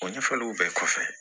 O ɲɛfɔliw bɛɛ kɔfɛ